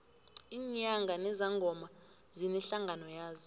iinyanga nezangoma zinehlangano yazo